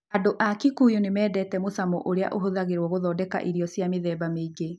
Andũ a Kikuyu nĩ mendete mũcamo ũrĩa ũhũthagĩrũo gũthondeka irio cia mĩthemba mĩingĩ.